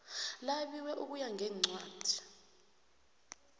labiwe ukuya ngencwadi